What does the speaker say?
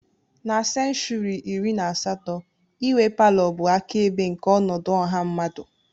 Na senshuri iri na asatọ, inwe palọ bụ akaebe nke ọnọdụ ọha mmadụ.